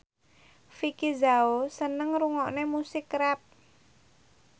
Vicki Zao seneng ngrungokne musik rap